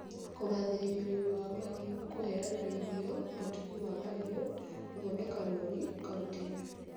Kũgathĩrĩria ũrĩmi wa mahiũ (kũheana irio, ũtugi wa mahiũ, gũthondeka rũũri) kaunti-inĩ